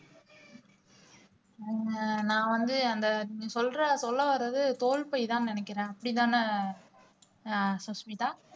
அஹ் நான் வந்து அந்த நீ சொல்ற சொல்ல வர்றது தோல் பைதான்னு நினைக்கிறேன் அப்படிதானே ஆஹ் சஸ்மிதா